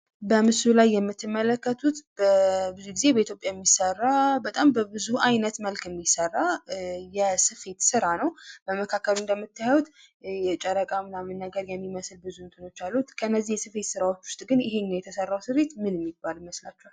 በምስሉ ላይ የምትመለከቱት ብዙ ጊዜ በኢትዮጵያ የሚሠራ በጣም በብዙ አይነት መልክ የሚሠራ የስፌት ስራ ነው። በመካከል እንደምታዩት የጨረቃ ምናምን ነገር የሚመስል ብዙ እንትኖች አሉት። ከእነዚህ የስፌት ዓይነቶች ውስጥ ግን ይሄኛው የተሰራው ስሪት ምን የሚባል ይመስላችኋል?